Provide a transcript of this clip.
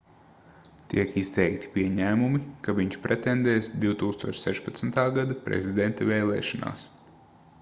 tiek izteikti pieņēmumi ka viņš pretendēs 2016. gada prezidenta vēlēšanās